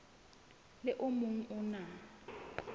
le o mong o na